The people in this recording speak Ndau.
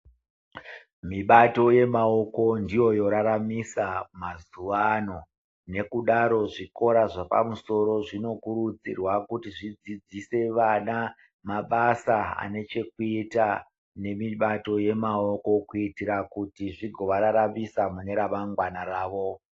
Mibato yemaoko ndiyo yoraramisa mazuva ano nokudaro zvikora zvepamusoro zvinokurudzirwa kuti zvidzidzise vana mabasa ane chekuita nemibato yemaoko kuitira kuti zvigo vararamisa mune remangwana ravo.